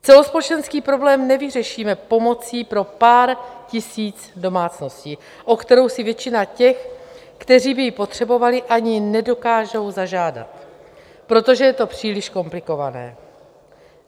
Celospolečenský problém nevyřešíme pomocí pro pár tisíc domácností, o kterou si většina těch, kteří by ji potřebovali, ani nedokážou zažádat, protože je to příliš komplikované.